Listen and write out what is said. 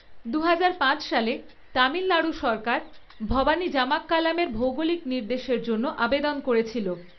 দুহাজার পাঁচ সালে, তামিলনাড়ু সরকার ভবানী জামাক্কালামের ভৌগলিক নির্দেশের জন্য আবেদন করেছিল।